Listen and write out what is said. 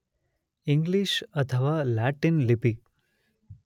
English ಅಥವಾ Latin ಲಿಪಿ